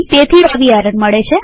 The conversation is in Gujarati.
તેથી આવી એરર મળે છે